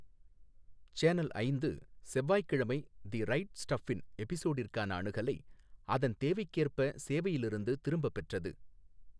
Channel ஐந்து செவ்வாய்க்கிழமை the right ஸ்டஃப்பின் எபிசோடிற்கான அணுகலை அதன் தேவைக்கேற்ப சேவையிலிருந்து திரும்பப் பெற்றது.